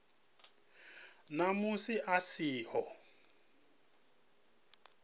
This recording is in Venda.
na musi a si ho